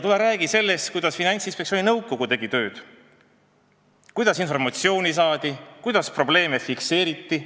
Tule räägi sellest, kuidas Finantsinspektsiooni nõukogu tööd tegi, kuidas informatsiooni saadi, kuidas probleeme fikseeriti.